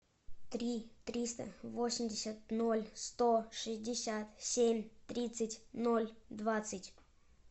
три триста восемьдесят ноль сто шестьдесят семь тридцать ноль двадцать